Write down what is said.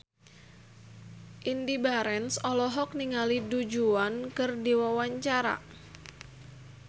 Indy Barens olohok ningali Du Juan keur diwawancara